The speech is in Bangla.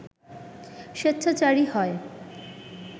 স্বেচ্ছাচারী হয়